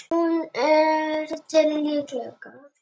Hún er til alls líkleg.